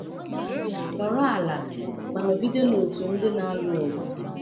Nọrọ n’ala, ma nọgide n’otu ndị na-alụ ọgụ.